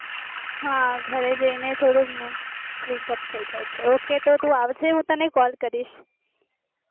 હા ઘરે જઈને થોડું freekup થાય જાય છે ok તું આવજે તો હું તને call ક્રીસ